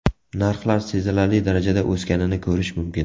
Narxlar sezilarli darajada o‘sganini ko‘rish mumkin.